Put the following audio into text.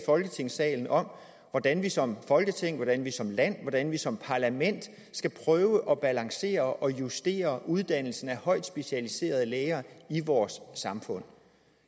folketingssalen om hvordan vi som folketing hvordan vi som land hvordan vi som parlament skal prøve at balancere og justere uddannelsen af højt specialiserede læger i vores samfund